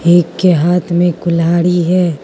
एक के हाथ में कुल्हाड़ी है।